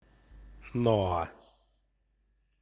ноа